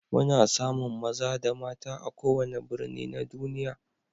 Muna samun maza da mata a kowane birni na duniya.